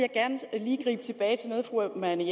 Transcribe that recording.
man